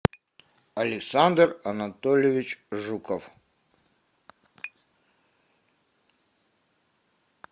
александр анатольевич жуков